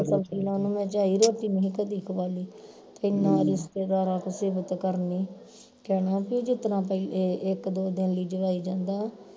ਸਬਜ਼ੀ ਨਾਲ ਉਹਨੂੰ ਮੈਂ ਝਾਈ ਰੋਟੀ ਨਹੀਂ ਕਦੀ ਖਵਾਈ ਤੇ ਨਾਲ ਈ ਰਿਸ਼ਤੇਦਾਰ ਸਿਫਤ ਕਰਨੀ ਕਹਿਣਾ ਬਈ ਜਿਹ ਤਰ੍ਹਾਂ ਕੋਈ ਇਕ ਦੋ ਦਿਨ ਲਈ ਜਵਾਈ ਜਾਂਦਾ